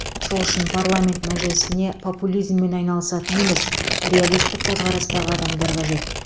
сол үшін парламент мәжілісіне популизммен айналысатын емес реалистік көзқарастағы адамдар қажет